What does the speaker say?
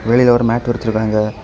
வெளில ஒரு மேட்டு விரிச்சுருக்காங்க.